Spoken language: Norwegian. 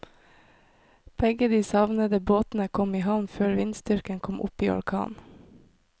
Begge de savnede båtene kom i havn før vindstyrken kom opp i orkan.